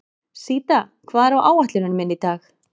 Síta, hvað er á áætluninni minni í dag?